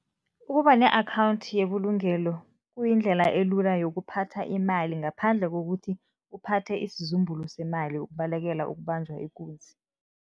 Ukuba ne-akhawundi yebulungelo kuyindlela elula yokuphatha imali ngaphandle kokuthi uphathe isizumbulu semali, ukubalekela ukubanjwa ikunzi.